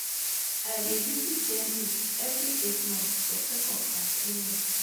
i dey visit dentist every eight months for check-up and cleaning.